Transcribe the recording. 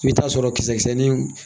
I bɛ taa sɔrɔ kisɛ kisɛnin